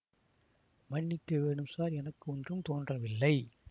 மன்னிக்கவேணும் sir எனக்கு ஒன்றும் தோன்றவில்லை